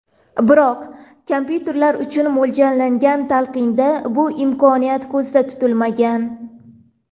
Biroq kompyuterlar uchun mo‘ljallangan talqinda bu imkoniyat ko‘zda tutilmagan.